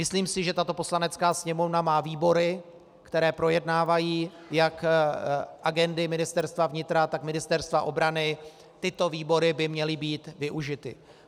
Myslím si, že tato Poslanecká sněmovna má výbory, které projednávají jak agendy Ministerstva vnitra, tak Ministerstva obrany, tyto výbory by měly být využity.